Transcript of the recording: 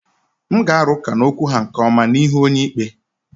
M ga-arụ ụka n'okwu ha nke ọma n'ihu onyeikpe.